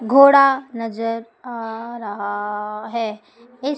घोड़ा नजर आ रहा है इस--